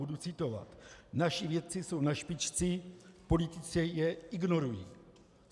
Budu citovat: Naši vědci jsou na špici, politici je ignorují.